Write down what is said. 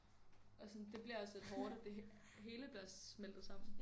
Og sådan det bliver også lidt hårdt at det hele bliver smeltet sammen